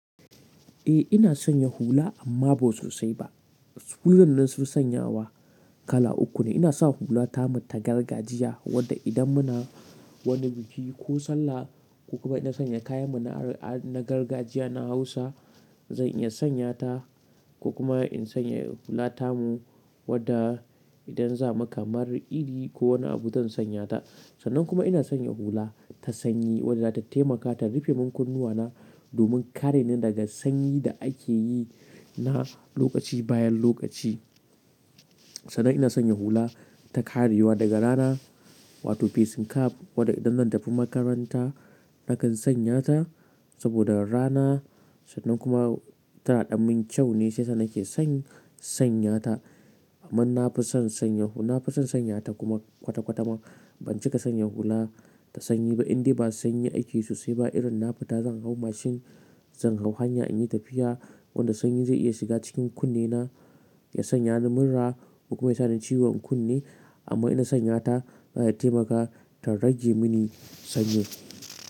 Eh ina sanya hula amma ba sosai ba. Su hulan nan nafi sanyawa kala uku ne. Ina sa hula tamu ta gargajiya wadda idan muna wani biki ko sallah ko kuma ina sanya kayan mu na gargajiya na Hausa zan iya sanya ta ko kuma in sanya hula tamu wadda idan za mu kamar idi ko wani abu zan sanya ta. Sannan kuma ina sanya hula ta sanyi wadda ta taimaka ta rufe mun kunnuwa na domin kare ni daga sanyi da ake yi na lokaci bayan lokaci. Sannan ina sanya hula ta karewa daga rana wato facing cap wadda idan zan tafi makaranta nakan sanya ta saboda rana sannan kuma tana ɗan min kyau ne shiyasa nake san sanya ta. Amma na fi son sanya hula na fi son sanya ta kuma kwata kwata ma ban cika sanya hula ta sanyi ba inda ba sanyi ake sosai ba irin na fita zan ilhau mashin, zan hau hanya in yi tafiya wanda sanyi zai iya shiga cikin kunne na, ya sanya ni mura ko kuma ya sa ni ciwon kunne amma ina sanya ta taimaka ta rage mi ni sanyi.